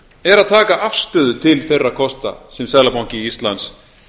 er að taka afstöðu til þeirra kosta sem seðlabanki íslands